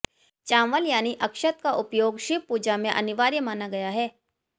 चावल यानी अक्षत का उपयोग शिवपूजा में अनिवार्य माना गया है